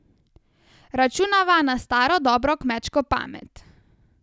Računava na staro dobro kmečko pamet.